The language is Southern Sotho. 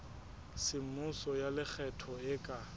semmuso ya lekgetho e ka